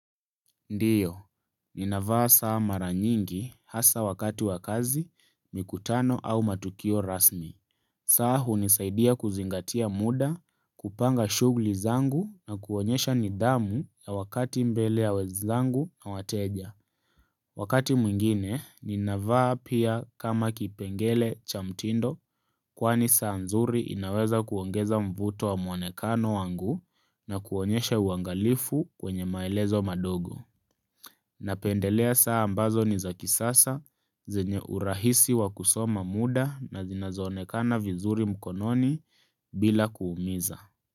Ndiyo, ninavaa saa mara nyingi hasa wakati wa kazi, mikutano au matukio rasmi. Saa hunisaidia kuzingatia muda, kupanga shugli zangu na kuonyesha nidhamu ya wakati mbele ya wenzangu na wateja. Wakati mwingine, ninavaa pia kama kipengele cha mtindo kwani saa nzuri inaweza kuongeza mvuto wa muonekano wangu na kuonyesha uangalifu wenye maelezo madogo. Napendelea saa ambazo ni za kisasa, zinye urahisi wa kusoma muda na zinazo onekana vizuri mkononi bila kuumiza.